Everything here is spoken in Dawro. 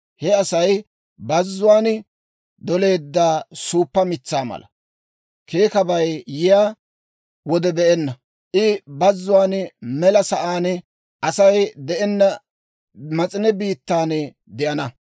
He Asay bazzuwaan doleedda suuppa mitsaa mala. Keekabay yiyaa wode be'enna. I bazzuwaan, mela sa'aan, Asay de'enna mas'ine biittan de'ana.